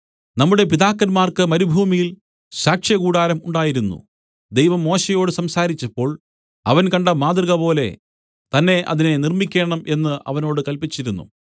നമ്മുടെ പിതാക്കന്മാർക്ക് മരുഭൂമിയിൽ സാക്ഷ്യകൂടാരം ഉണ്ടായിരുന്നു ദൈവം മോശെയോട് സംസാരിച്ചപ്പോൾ അവൻ കണ്ട മാതൃകപോലെ തന്നെ അതിനെ നിർമ്മിക്കണം എന്ന് അവനോട് കല്പിച്ചിരുന്നു